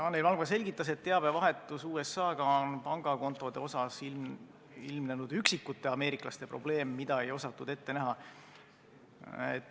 Anneli Valgma selgitas, et teabevahetuses USA-ga on pangakontode puhul ilmnenud üksikute ameeriklastega probleem, mida ei osatud ette näha.